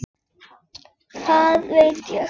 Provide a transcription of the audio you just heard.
Hvað veit ég?